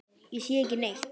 Ég sé ekki neitt.